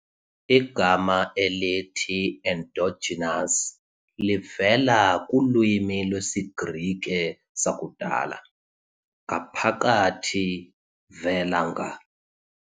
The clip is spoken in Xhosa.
Igama elithi endogenous ɛnˈdɒdʒɪnəs livela kulwimi lwesiGrike sakudala ἐνδο-, "ngaphakathi" and -γενής, "vela nga-".